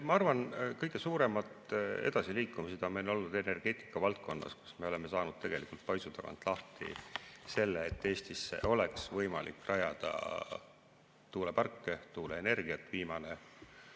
Ma arvan, et kõige suurem edasiliikumine on meil olnud energeetika valdkonnas, kus me oleme saanud paisu tagant lahti selle, et Eestisse oleks võimalik rajada tuuleparke, tuuleenergia.